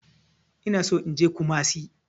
Ina so in je kumasi.